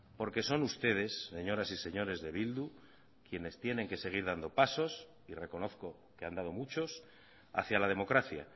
porque son ustedes señoras y señores de bildu quienes tienen que seguir dando pasos y reconozco que han dado muchos hacia la democracia